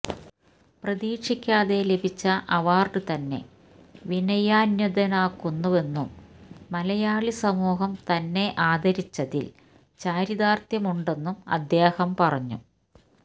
പ്രതീക്ഷിക്കാതെ ലഭിച്ച അവാര്ഡ് തന്നെ വിനയാന്വിതനാക്കുന്നുവെന്നും മലയാളി സമൂഹം തന്നെ ആദരിച്ചതില് ചാരിതാര്ത്ഥ്യമുണ്ടെന്നും അദ്ദേഹം പറഞ്ഞു